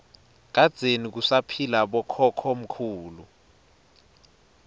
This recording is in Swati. kadzeni kusaphila bokhokho mkhulu